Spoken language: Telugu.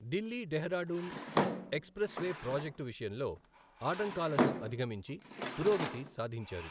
ఢిల్లీ ఢెహ్రాడూన్ ఎక్స్ప్రెస్వే ప్రాజెక్టు విషయంలో ఆటంకాలను అధిగమించి పురోగతి సాధించారు.